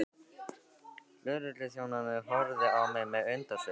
Lögregluþjónarnir horfðu á mig með undrunarsvip.